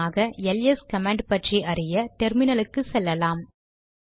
உதாரணமாக ls command பற்றி அறிய டெர்மினலுக்கு செல்லலாம்